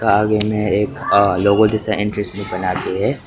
आगे में एक अ लोगो जैसा इंट्रेंस में बनाके हैं।